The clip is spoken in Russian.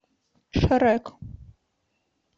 шрек